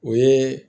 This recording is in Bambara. O ye